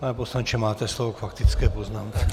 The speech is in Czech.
Pane poslanče, máte slovo k faktické poznámce.